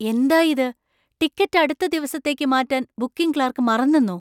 എന്താ ഇത്! ടിക്കറ്റ് അടുത്ത ദിവസത്തേക്ക് മാറ്റാൻ ബുക്കിംഗ് ക്ലാർക്ക് മറന്നെന്നോ?